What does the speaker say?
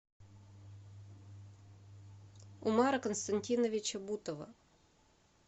умара константиновича бутова